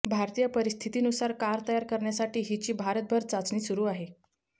भारतीय परिस्थितीनुसार कार तयार करण्यासाठी हिची भारतभर चाचणी सुरू आहे